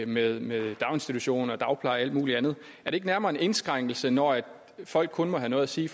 med med daginstitutioner og og alt muligt andet er det ikke nærmere en indskrænkning når folk kun må have noget at sige i